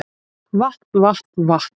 Vatn vatn vatn